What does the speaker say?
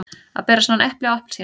Að bera saman epli og appelsínur